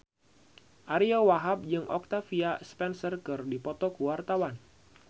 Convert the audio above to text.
Ariyo Wahab jeung Octavia Spencer keur dipoto ku wartawan